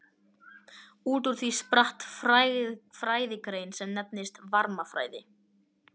Út úr því spratt fræðigrein sem nefnist varmafræði.